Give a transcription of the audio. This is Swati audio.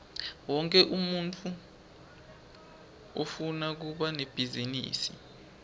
wonkhe umuntfu ufuna kuba nebhizinisi